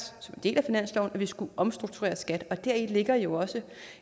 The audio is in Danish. som en del af finansloven skulle omstrukturere skat og deri ligger jo også